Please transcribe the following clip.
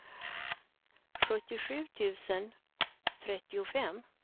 sjuttiosju tusen trettiofem